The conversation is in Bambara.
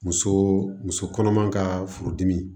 Muso muso kɔnɔma ka furudimi